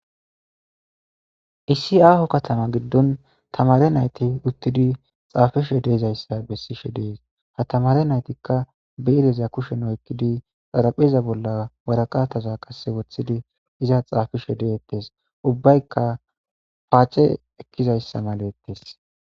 Issi aaho katama giddon tamaare nayti uttidi tsaafeshe de'iza issa be'ishe de'is. Ha tamaare naytikka xarabeza kushen oyqqidi, xarapeeza bolla worqqataza qassi wotsidi iza tsaafeshe dettes. Ubbakka xaace eqqiza issay erettes.